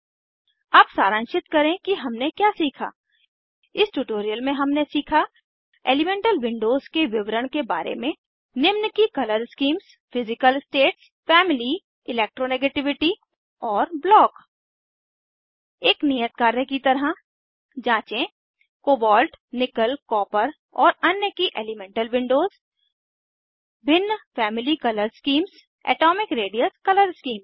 अब सारांशित करें कि हमने क्या सीखा इस ट्यूटोरियल में हमने सीखा एलीमेंटल विंडोज के विवरण के बारे में निम्न की colour schemes physical states family electronegativity और 4ब्लॉक एक नियत कार्य की तरह जाँचें कोबॉल्ट निकल कॉपर और अन्य की एलीमेंटल विंडोज भिन्न family colour schemes atomic radius colour schemes